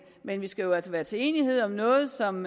men vi skal jo altså nå til enighed om noget som